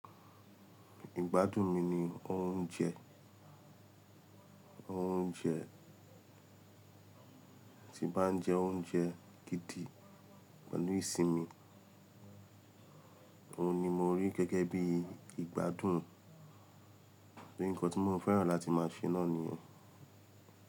Ìgbádùn mi ni oúnjẹ, oúnjẹ tí bá ń jẹ oúnjẹ gidi pẹ̀lú ìsinmi, òhun ni mo rí gẹ́gẹ́ bí ìgbádùn, bí nǹkan tí mo fẹ́ràn láti máa ṣe náà nìyẹn.